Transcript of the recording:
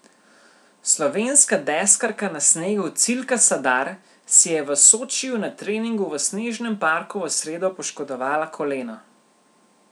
Slovenska deskarka na snegu Cilka Sadar si je v Sočiju na treningu v snežnem parku v sredo poškodovala koleno.